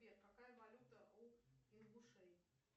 сбер какая валюта у ингушей